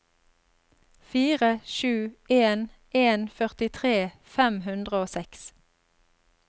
fire sju en en førtitre fem hundre og seks